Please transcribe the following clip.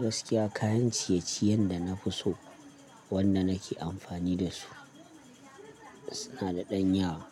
Gaskiya kayan ciye-ciyen da na fi so wanda nake amfani dasu suna da ɗan yawa.